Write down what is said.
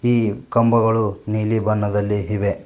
ಈ ಕಂಬಗಳು ನೀಲಿ ಬಣ್ಣದಲ್ಲಿ ಇವೆ.